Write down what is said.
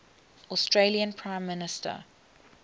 australian prime minister